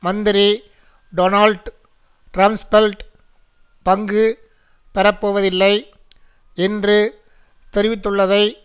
மந்திரி Donald Rumsfeld பங்கு பெறப்போவதில்லை என்று தெரிவித்துள்ளதை